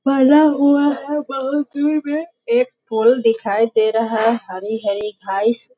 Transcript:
लगा हुआ है बहुत दूर में एक फूल दिखाई दे रहा है हरी-हरी घास --